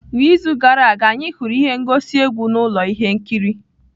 N'izu gara aga, anyị hụrụ ihe ngosi egwu na ụlọ ihe nkiri.